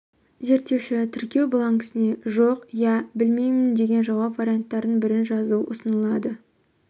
зерттеуші тіркеу бланкісіне жоқ иә білмеймін деген жауап варианттарының бірін жазу ұсынылады